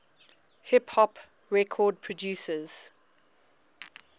hip hop record producers